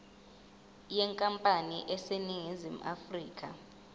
yenkampani eseningizimu afrika